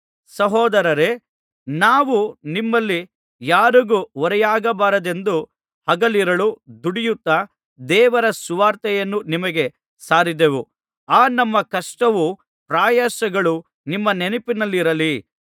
ಸಹೋದರರೇ ನಾವು ನಿಮ್ಮಲ್ಲಿ ಯಾರಿಗೂ ಹೊರೆಯಾಗಬಾರದೆಂದು ಹಗಲಿರುಳು ದುಡಿಯುತ್ತಾ ದೇವರ ಸುವಾರ್ತೆಯನ್ನು ನಿಮಗೆ ಸಾರಿದೆವು ಆ ನಮ್ಮ ಕಷ್ಟವೂ ಪ್ರಯಾಸಗಳು ನಿಮ್ಮ ನೆನಪಿನಲ್ಲಿರಲಿ